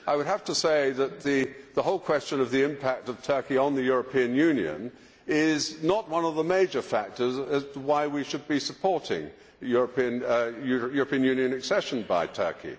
I would have to say that the whole question of the impact of Turkey on the European Union is not one of the major factors as to why we should be supporting European Union accession by Turkey.